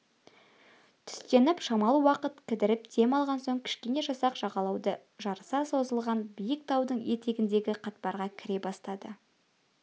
түстеніп шамалы уақыт кідіріп дем алған соң кішкене жасақ жағалауды жарыса созылған биік таудың етегіндегі қатпарға кіре бастады